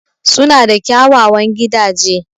Suna da kyawawan gidaje.